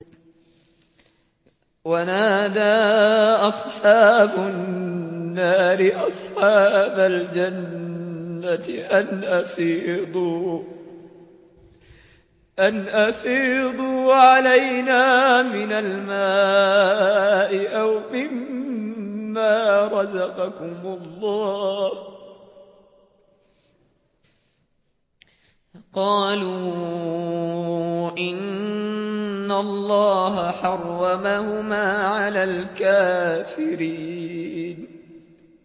وَنَادَىٰ أَصْحَابُ النَّارِ أَصْحَابَ الْجَنَّةِ أَنْ أَفِيضُوا عَلَيْنَا مِنَ الْمَاءِ أَوْ مِمَّا رَزَقَكُمُ اللَّهُ ۚ قَالُوا إِنَّ اللَّهَ حَرَّمَهُمَا عَلَى الْكَافِرِينَ